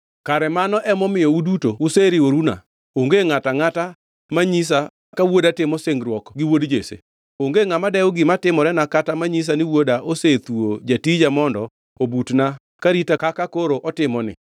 Kare mano emomiyo uduto useriworuna? Onge ngʼato angʼata manyisa ka wuoda timo singruok gi wuod Jesse. Onge ngʼama dewo gima timorena kata manyisa ni wuoda osethuwo jatija mondo obutna ka rita kaka koro otimoni.”